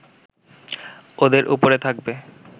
ওদের ওপরে থাকবে